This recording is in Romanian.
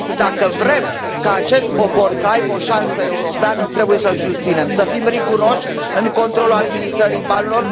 Dacă vrem ca acest popor să aibă o șansă europeană trebuie să îl susținem, să fim riguroși în controlul administrării banilor.